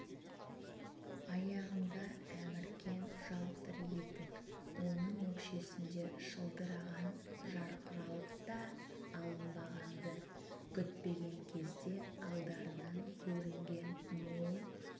аяғында әміркен жалтыр етік оның өкшесінде шылдыраған жарқырауық да алынбаған-ды күтпеген кезде алдарынан көрінген мол